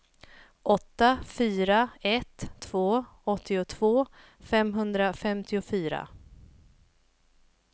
åtta fyra ett två åttiotvå femhundrafemtiofyra